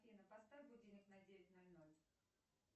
афина поставь будильник на девять ноль ноль